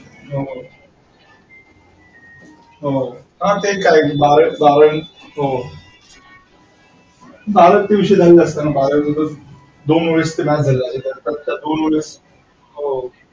हो हो हा तेच बारावीनंतर